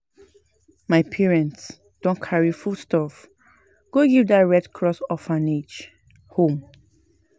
My parents don carry foodstuff go give dat Red Cross orphanage home.